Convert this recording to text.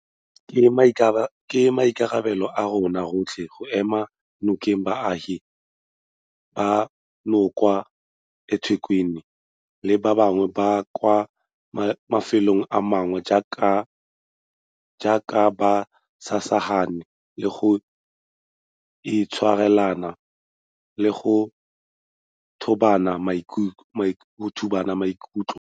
Ke maikarabelo a rona rotlhe go ema nokeng baagi banoba kwa eThekwini le ba bangwe ba kwa mafelong a mangwe jaaka ba samagane le go itshwarelana le go thobana maikutlo.